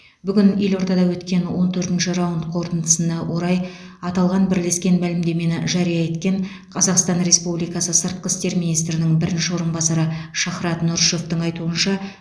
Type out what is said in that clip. бүгін елордада өткен он төртінші раунд қорытындысына орай аталған бірлескен мәлімдемені жария еткен қазақстан республикасы сыртқы істер министрінің бірінші орынбасары шахрат нұрышевтің айтуынша